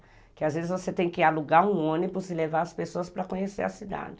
Porque às vezes você tem que alugar um ônibus e levar as pessoas para conhecer a cidade.